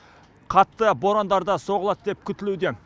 қатты борандар да соғылады деп күтілуде